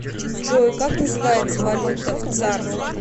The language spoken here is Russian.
джой как называется валюта в цар